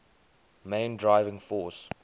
main driving force